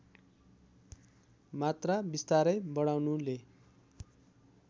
मात्रा बिस्तारै बढाउनुले